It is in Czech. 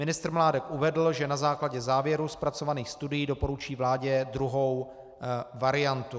Ministr Mládek uvedl, že na základě závěrů zpracovaných studií doporučí vládě druhou variantu.